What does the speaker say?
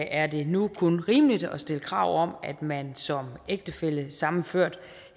er det nu kun rimeligt at stille krav om at man som ægtefællesammenført